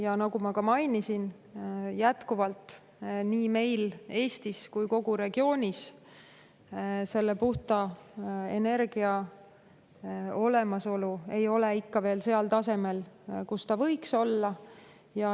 Ja nagu ma ka mainisin, jätkuvalt ei ole puhta energia olemasolu nii meil Eestis kui ka kogu regioonis ikka veel seal tasemel, kus ta võiks olla.